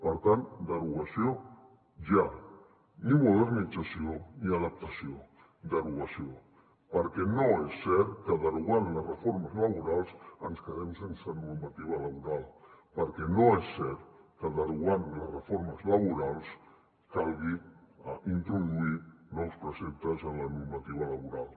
per tant derogació ja ni modernització ni adaptació derogació perquè no és cert que derogant les reformes laborals ens quedem sense normativa laboral perquè no és cert que derogant les reformes laborals calgui introduir nous preceptes en la normativa laboral